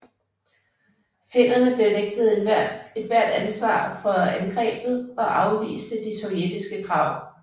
Finnerne benægtede ethvert ansvar for angrebet og afviste de sovjetiske krav